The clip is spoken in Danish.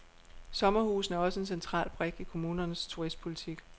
Sommerhusene er også en central brik i kommunernes turistpolitik.